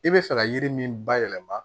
I bɛ fɛ ka yiri min ba yɛlɛma